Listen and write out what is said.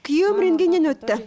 күйеуім рентгеннен өтті